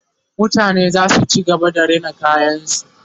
mutane zasu ci gaba da Rina kayan su